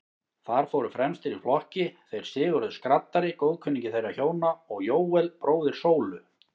Þar fóru fremstir í flokki þeir Sigurður skraddari, góðkunningi þeirra hjóna, og Jóel, bróðir Sólu.